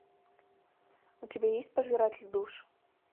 у тебя есть пожиратель душ